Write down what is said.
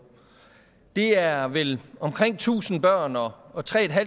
det er vel omkring tusind børn og og tre